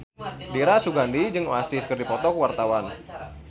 Dira Sugandi jeung Oasis keur dipoto ku wartawan